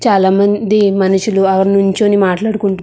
చాలా మంది మనుషులు నుంచోని మాట్లాడుకుంటు --